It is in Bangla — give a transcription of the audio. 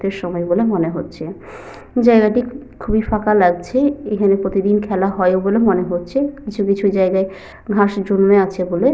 রাতের সময় বলে মনে হচ্ছে। জায়গাটি খুবই ফাঁকা লাগছে। এখানে প্রতিদিন খেলা হয় বলে মনে হচ্ছে। কিছু কিছু জায়গায় ঘাস জন্মে আছে বলে।